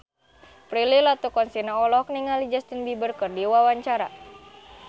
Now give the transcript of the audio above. Prilly Latuconsina olohok ningali Justin Beiber keur diwawancara